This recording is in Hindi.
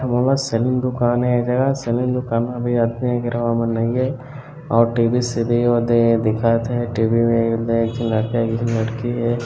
सेलून दुकान है और टीवी